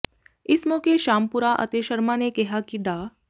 ਇਸ ਮੌਕੇ ਸ਼ਾਮਪੁਰਾ ਅਤੇ ਸ਼ਰਮਾ ਨੇ ਕਿਹਾ ਕਿ ਡਾ